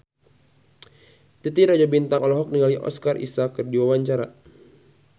Titi Rajo Bintang olohok ningali Oscar Isaac keur diwawancara